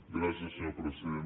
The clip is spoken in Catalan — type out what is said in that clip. gràcies senyor president